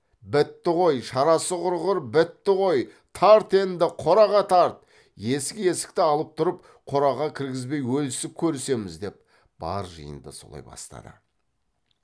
бітті ғой шарасы құрғыр бітті ғой тарт енді қораға тарт есік есікті алып тұрып қораға кіргізбей өлісіп көрісеміз деп бар жиынды солай бастады